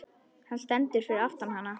Hann stendur fyrir aftan hana.